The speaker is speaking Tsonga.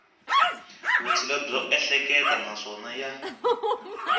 vutshila byo ehleketa naswona ya